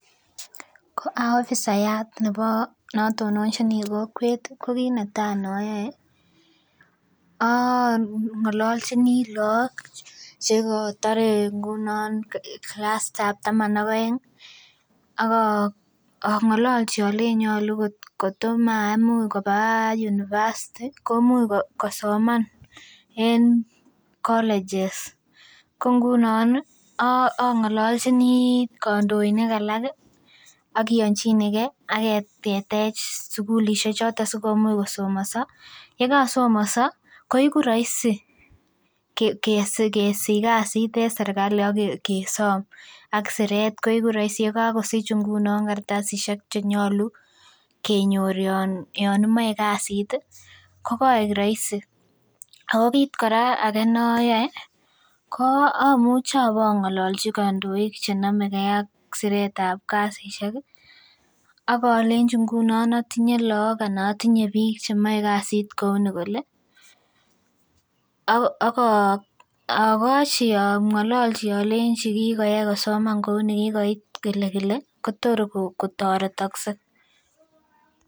Koa ofisayaat neo natonochini kokwet ko kinetai nayae ko aang'alanchini lakok chekotorei kilasitab taman aeng ak ang'alalchi alei atkoma imuch koba university koimuch kosoman en colleges koingunon ang'alalchini kondoinik alak akionchine ke aketech sukulisiek choton si komuch kosomaso, ye kosomaso koegu raisi kesich kasit en sergali akesom ak siret koegu raisi ndamun Kasich kartasisiek chenyolu kenyor Yoon imoe kasit ko kaek raisi. Ako kit age kora nayoe ko amuchi ang'alalchi kandoik siretab kasisiek akalenji ngunon atinye lakok anan atinye bik chemoe kasit kouni kole , akoo akochi ang'alalchi alenchi kikoyai kosoman kouni kikoit, Ile kile Kotor, kotoretak se